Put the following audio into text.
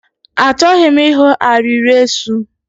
Achọghị m ịhụ arịrị eso.